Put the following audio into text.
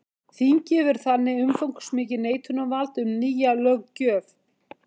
Þingið hefur þannig umfangsmikið neitunarvald um nýja löggjöf.